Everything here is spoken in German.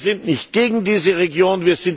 Wir sind nicht gegen diese Region.